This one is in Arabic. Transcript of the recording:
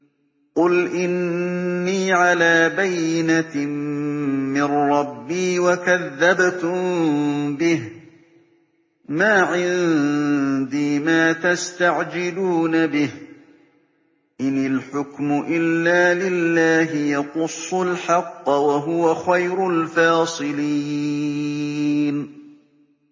قُلْ إِنِّي عَلَىٰ بَيِّنَةٍ مِّن رَّبِّي وَكَذَّبْتُم بِهِ ۚ مَا عِندِي مَا تَسْتَعْجِلُونَ بِهِ ۚ إِنِ الْحُكْمُ إِلَّا لِلَّهِ ۖ يَقُصُّ الْحَقَّ ۖ وَهُوَ خَيْرُ الْفَاصِلِينَ